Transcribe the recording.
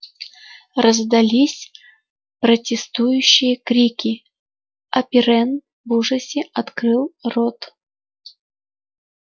раздались протестующие крики а пиренн в ужасе открыл рот